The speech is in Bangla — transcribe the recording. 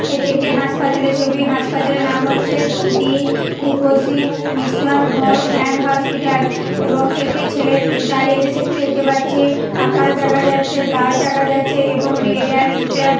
এটি একটি হাসপাতালের ছবি হাসপাতালের নাম হচ্ছে the Lipsi Mission Home and Hospital এবং একটি ছেলে দাঁড়িয়ে আছে সেটি দেখতে পাচ্ছি আকাশ দেখা যাচ্ছে গাছ দেখা যাচ্ছে এবং রেড অ্যান্ড --